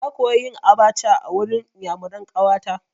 Na koya yin abaca a wurin iyamuran ƙawa ta.